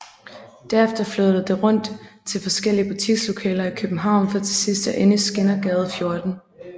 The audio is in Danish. Derefter flyttede det rundt til forskellige butikslokaler i København for til sidst at ende i Skindergade 14